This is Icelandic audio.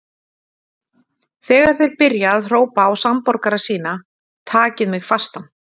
Þegar þeir byrja að hrópa á samborgara sína: Takið mig fastan!